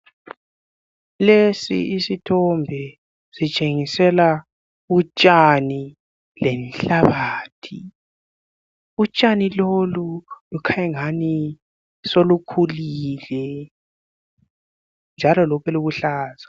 Lesi isithombe sitshengisela utshani lenhlabathi utshani lolu lukhanya engani solukhulile njalo lokhe buluhlaza.